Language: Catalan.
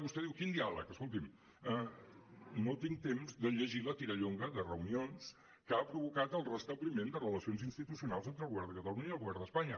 vostè diu quin diàleg escolti’m no tinc temps de llegir la tirallonga de reunions que ha provocat el restabliment de relacions institucionals entre el govern de catalunya i el govern d’espanya